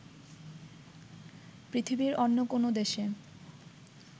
পৃথিবীর অন্য কোনো দেশে